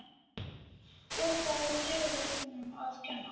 Og það var dyraverðinum að kenna.